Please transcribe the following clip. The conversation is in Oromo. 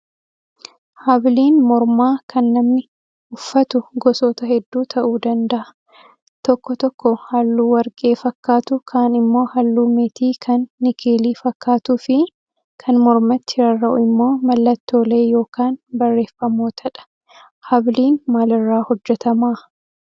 Habiliin mormaa kan namni uffatu gosoota hedduu ta'uu danda'u. Tokko tokko halluu warqee fakkatu kaan immoo halluu meetii kan nikeelii fakkaatuu fi kan mormatti rarra'u immoo mallattoolee yookaan barreeffamootadha. habiliin maalirraa hojjatamaa?